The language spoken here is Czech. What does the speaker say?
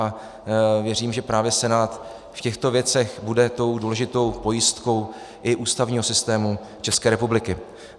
A věřím, že právě Senát v těchto věcech bude tou důležitou pojistkou i ústavního systému České republiky.